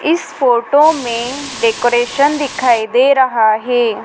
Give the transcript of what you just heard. इस फोटो में डेकोरेशन दिखाई दे रहा है।